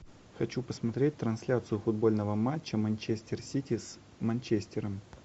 хочу посмотреть трансляцию футбольного матча манчестер сити с манчестером